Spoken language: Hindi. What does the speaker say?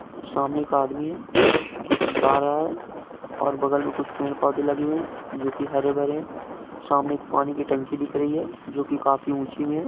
सामने एक आदमी है जोकि जा रहा है। और बगल में कुछ पेड-पोधे लगे हुए है जोकि हरे-भरे है। सामने एक पानी की टंकी दिख रही है जोकि काफी ऊँची में है।